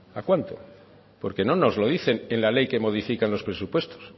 a cuánto porque no nos lo dicen en la ley que modifican los presupuestos